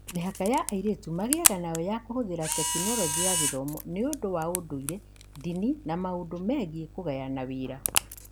Mĩhaka ĩrĩa airĩtu magĩaga nayo ya kũhũthĩra tekinoronjĩ ya gĩthomo nĩ ũndũ wa ũndũire, ndini, na maũndu megiĩ kũgayana wĩra.